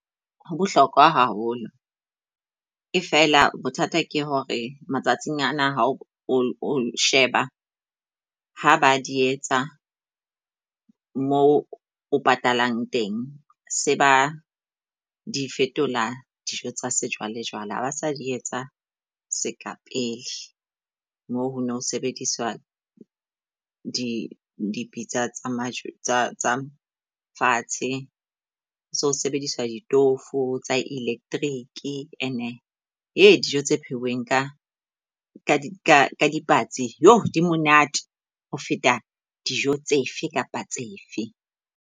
Ho bohlokwa haholo. E feela bothata ke hore matsatsing ana ha o sheba ha ba di etsa moo o patalang teng. Se ba di fetola dijo tsa sejwale jwale ha ba sa di etsa seka pele, mo ho no sebediswa dipitsa tsa majwe tsa fatshe. So sebediswa ditofo tsa electric ene he dijo tse pheuweng ka dipatsi, yoh di monate ho feta dijo tsefe kapa tsefe.